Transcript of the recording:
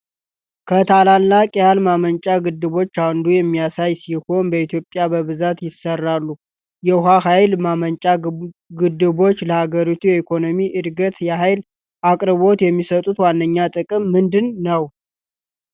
ከታላላቅ የኃይል ማመንጫ ግድቦች አንዱን የሚያሳይ ሲሆን፣ በኢትዮጵያ በብዛት ይሰራሉ። የውሃ ኃይል ማመንጫ ግድቦች ለሀገሪቱ የኢኮኖሚ ዕድገትና የኃይል አቅርቦት የሚሰጡት ዋነኛ ጥቅም ምንድን ነው?